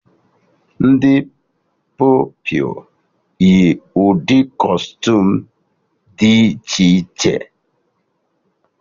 Ndị Pupilụ yi ụdị kọstuum dị iche iche